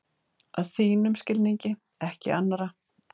Að þínum skilningi, ekki annarra.